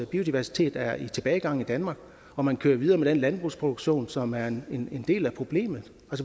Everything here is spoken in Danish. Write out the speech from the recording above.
biodiversiteten er i tilbagegang i danmark og man kører videre med den landbrugsproduktion som er en del af problemet